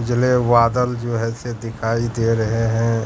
उजले बादल जो है से दिखाई दे रहे हैं।